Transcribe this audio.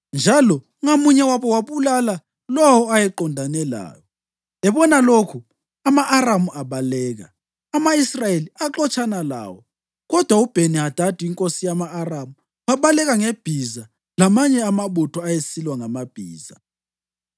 njalo ngamunye wabo wabulala lowo ayeqondene laye. Ebona lokhu, ama-Aramu abaleka, ama-Israyeli axotshana lawo. Kodwa uBheni-Hadadi inkosi yama-Aramu wabaleka ngebhiza lamanye amabutho ayesilwa ngamabhiza.